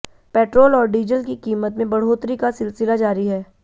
petrol और diesel की कीमत में बढ़ोतरी का सिलसिला जारी है